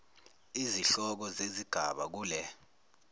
izihloko zezigaba kule